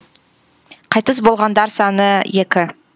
қайтыс болғандар саны екі